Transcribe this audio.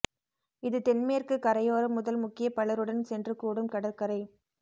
இது தென் மேற்கு கரையோர முதல் முக்கிய பலருடன் சென்று கூடும் கடற்கரை